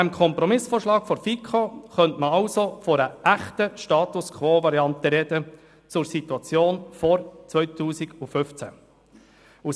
Bei diesem Kompromissvorschlag der FiKo könnte man also von einer echten Status-quo-Variante sprechen im Vergleich zur Situation vor 2015.